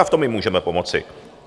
A v tom jim můžeme pomoci.